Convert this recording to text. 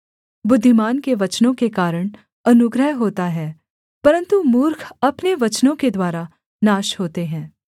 बुद्धिमान के वचनों के कारण अनुग्रह होता है परन्तु मूर्ख अपने वचनों के द्वारा नाश होते हैं